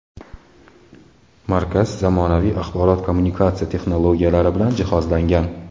Markaz zamonaviy axborot-kommunikatsiya texnologiyalari bilan jihozlangan.